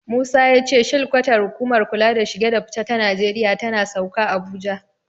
Musa ya ce shilkwatar hukumar kula da shige da fice ta Najeriya tana Sauka, Abuja.